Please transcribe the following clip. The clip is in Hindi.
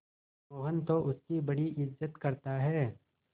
मोहन तो उसकी बड़ी इज्जत करता है